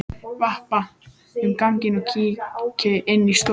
Vappa um ganginn og kíki inn í stofur.